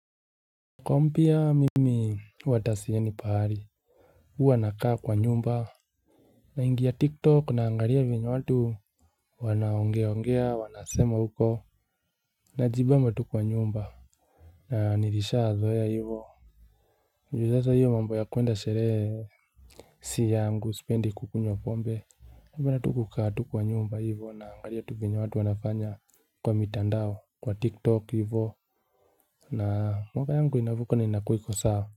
Kompia mimi huwa ata siendi pahali. Huwa nakaa kwa nyumba. Naingia tik tok naangalia venye watu wanaongeongea wanasema huko. Najibamba tu kwa nyumba. Na nilisha zoea hivo. Mlileta hiyo mambo ya kuenda sheree. Si yangu sipendi kukunywa pombe napenda tu kukaa tu kwa nyumba hivo naangalia tu venye watu wanafanya kwa mitandao kwa tiktok hivo. Na mwaka yangu inavuka na inakua iko sawa.